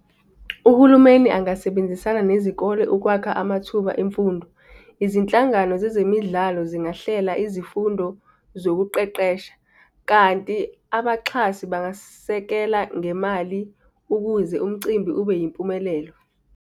Uhulumeni angasebenzisana nezikole ukwakha amathuba emfundo. Izinhlangano zezemidlalo zingahlela izifundo zokuqeqesha, kanti abaxhasi bangasekela ngemali, ukuze umcimbi ube yimpumelelo.